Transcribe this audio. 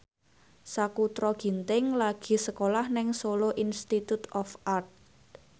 Sakutra Ginting lagi sekolah nang Solo Institute of Art